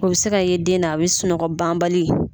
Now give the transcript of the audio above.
O bɛ se ka ye den na a bɛ sunɔgɔ banbali